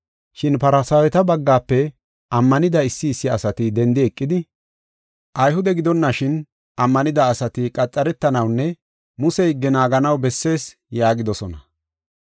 Shin Farsaaweta baggafe ammanida issi issi asati dendi eqidi, “Ayhude gidonashin ammanida asati qaxaretanawunne Muse higge naaganaw bessees” yaagidosona.